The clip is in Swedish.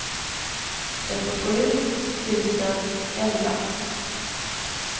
trettiosju tusen elva